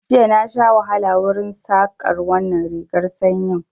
Jiya na sha wahala wurin Saƙar wannan rigar sanyin